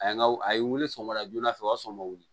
A ye n ka a ye wuli sɔgɔma joona fɛ o y'a sɔrɔ n ma wuli